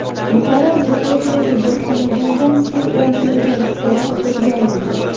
Buxoro viloyatidagi bir xonadondan pul o‘g‘irlagan fuqaro qo‘lga olindi.